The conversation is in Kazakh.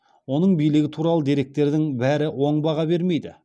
оның билігі туралы деректердің бәрі оң баға бермейді